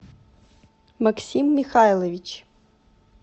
максим михайлович